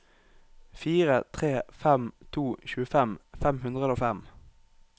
fire tre fem to tjuefem fem hundre og fem